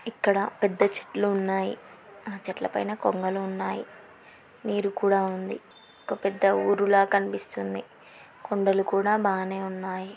ఇక్కడ పెద్ద చెట్లు ఉన్నాయి. ఆ చెట్ల పైన కొంగలు ఉన్నాయ్. నీరు కూడా ఉంది. ఒక పెద్ద ఊరు లాగా కనిపిస్తుంది. కొండలు కూడా బానే ఉన్నాయ్.